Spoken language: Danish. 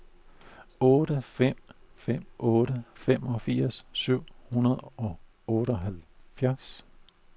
otte fem fem otte femogfirs syv hundrede og otteoghalvfjerds